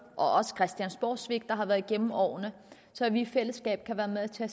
også christiansborgsvigt der har været gennem årene så vi i fællesskab kan være med til at